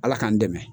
Ala k'an dɛmɛ